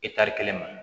kelen ma